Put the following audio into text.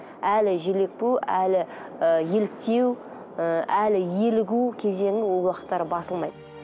әлі желпу әлі і еліктеу ы әлі ерігу кезеңі ол уақыттары басылмайды